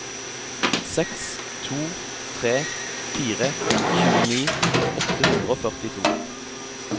seks to tre fire tjueni åtte hundre og førtito